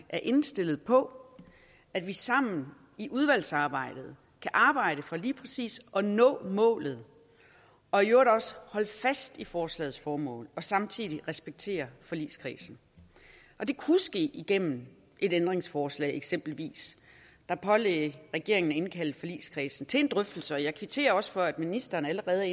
er indstillet på at vi sammen i udvalgsarbejdet kan arbejde for lige præcis at nå målet og i øvrigt også holde fast i forslagets formål og samtidig respektere forligskredsen det kunne ske igennem et ændringsforslag eksempelvis der pålagde regeringen at indkalde forligskredsen til en drøftelse jeg kvitterer også for at ministeren allerede